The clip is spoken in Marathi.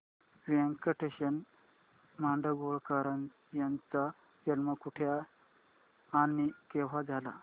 व्यंकटेश माडगूळकर यांचा जन्म कुठे आणि केव्हा झाला